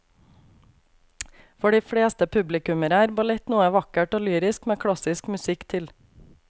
For de fleste publikummere er ballett noe vakkert og lyrisk med klassisk musikk til.